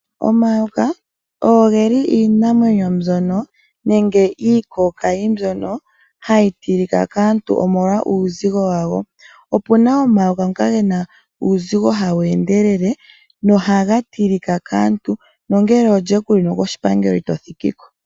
Omayoka ogeli iinamwenyo mbyono, nenge iikookayi mbyono hayi tilika kaantu omolwa uuzigo wago. Opuna omayoka ngoka gena uuuzigo hawu endelele nohaga tilika kaantu, nongele olye kuli no koshipangelo ito thikiko.